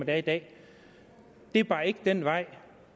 er i dag det er bare ikke den vej